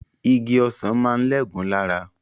Igi ọsàn máa ń lẹ́gùn-ún lára